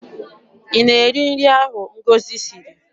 Ị na-eri nri ahụ Ngọzi siri?